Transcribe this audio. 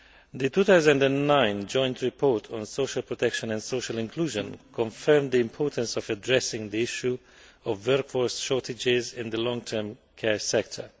The 2009 Joint Report on Social Protection and Social Inclusion confirmed the importance of addressing the issue of workforce shortages in the long term care sector.